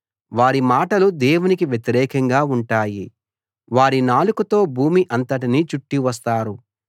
వారి మాటలు దేవునికి వ్యతిరేకంగా ఉంటాయి వారి నాలుకతో భూమి అంతటినీ చుట్టి వస్తారు